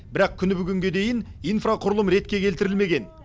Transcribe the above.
бірақ күні бүгінге дейін инфрақұрылым ретке келтірілмеген